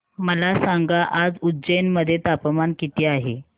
मला सांगा आज उज्जैन मध्ये तापमान किती आहे